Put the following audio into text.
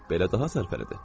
Belə daha sərfəlidir.